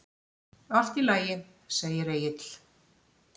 Allt í lagi, segir Egill.